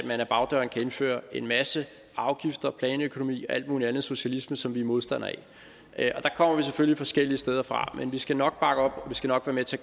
indføre en masse afgifter planøkonomi og alt muligt andet socialisme som vi er modstandere af der kommer vi selvfølgelig forskellige steder fra men vi skal nok bakke op og vi skal nok være med til